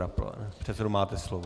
Pane předsedo, máte slovo.